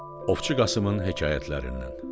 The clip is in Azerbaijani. Ovçu Qasımın hekayətlərindən.